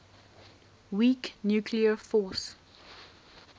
weak nuclear force